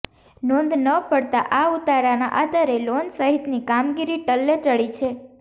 નોંધ ન પડતાં આ ઉતારાના આધારે લોન સહિતની કામગીરી ટલ્લે ચઢી છે